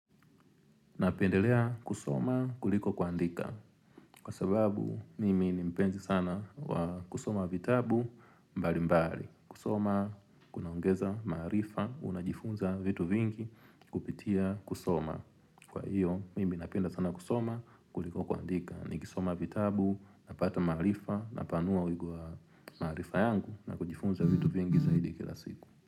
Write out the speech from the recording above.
Napendelea kusoma kuliko kuandika. Kwa sababu mimi nimpenzi sana kusoma vitabu mbali mbali. Kusoma kunaongeza marifa unajifunza vitu vingi kupitia kusoma. Kwa hiyo mimi napenda sana kusoma kuliko kuandika. Niki soma vitabu napata marifa napanua uigo wa marifa yangu na kujifunza vitu vingi zaidi kila siku.